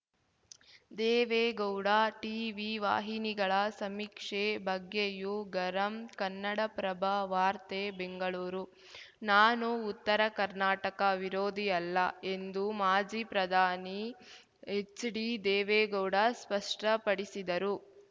Deve Gowda TV ವಾಹಿನಿಗಳ ಸಮೀಕ್ಷೆ ಬಗ್ಗೆಯೂ ಗರಂ ಕನ್ನಡಪ್ರಭ ವಾರ್ತೆ ಬೆಂಗಳೂರು ನಾನು ಉತ್ತರ ಕರ್ನಾಟಕ ವಿರೋಧಿ ಅಲ್ಲ ಎಂದು ಮಾಜಿ ಪ್ರಧಾನಿ ಎಚ್‌ಡಿ ದೇವೇಗೌಡ ಸ್ಪಷ್ಟಪಡಿಸಿದರು